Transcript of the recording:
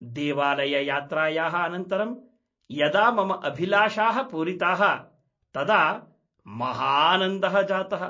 देवालययात्रायाः अनन्तरं यदा मम अभिलाषाः पूरिताः तदा महानन्दः जातः।